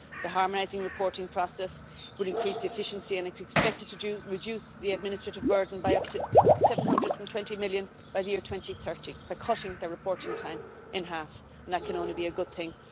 The harmonising reporting process will increase efficiency and it's expected to reduce the administrative burden by up to 720 million by the year 2030 by cutting the reporting time in half, and that can only be a good thing.